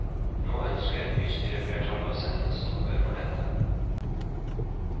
Nå ønsker bystyreflertallet å sette en stopper for dette.